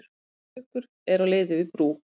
Stór trukkur er á leið yfir brú.